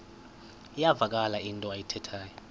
iyavakala into ayithethayo